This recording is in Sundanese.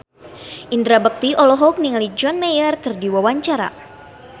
Indra Bekti olohok ningali John Mayer keur diwawancara